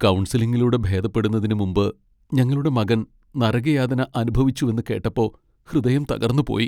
കൗൺസിലിങ്ങിലൂടെ ഭേദപ്പെടുന്നതിനു മുമ്പ് ഞങ്ങളുടെ മകൻ നരകയാതന അനുഭവിച്ചുവെന്ന് കേട്ടപ്പോ ഹൃദയം തകർന്നുപോയി .